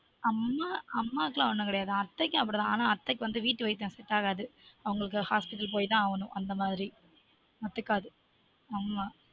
அம்மா அம்மாகக்கு லான் ஒன்னும் கெடயாது அத்தைக்கும் அப்டி தான் ஆனா அத்தைக்கு வந்து வீட்டு வைத்தியம் set ஆகாது அவங்களுக்கு hospital போய் தான் ஆகணும் அந்த மாதிரி ஒத்து காது ஆமா